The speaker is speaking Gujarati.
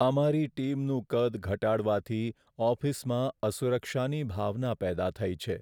અમારી ટીમનું કદ ઘટાડવાથી ઓફિસમાં અસુરક્ષાની ભાવના પેદા થઈ છે.